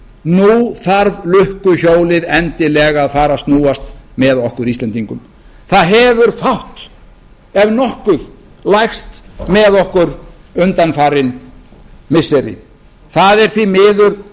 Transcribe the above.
nú þarf lukkuhjólið endilega að fara að snúast með okkur íslendingum það hefur fátt ef nokkuð lægt með okkur undanfarin missiri það er því miður